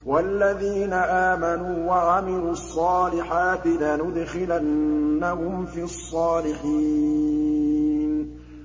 وَالَّذِينَ آمَنُوا وَعَمِلُوا الصَّالِحَاتِ لَنُدْخِلَنَّهُمْ فِي الصَّالِحِينَ